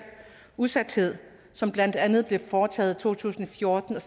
udsathed som blandt andet blev foretaget i to tusind og fjorten og